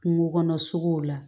Kungo kɔnɔ sogow la